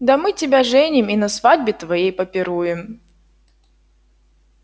да мы тебя женим и на свадьбе твоей попируем